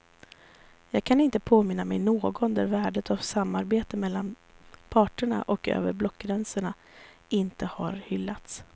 Jag kan inte påminna mig någon där värdet av samarbete mellan partierna och över blockgränsen inte har hyllats.